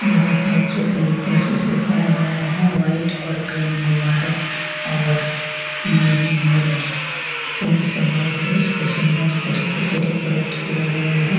बहुत ही अच्छे तरीको से सजाया गया है वाइट और ग्रीन गुबारों और मेरीगोल्ड फूलो से इसे बहुत ही इसको बहुत ही सुंदर तरीको से डेकोरेट किया गया है।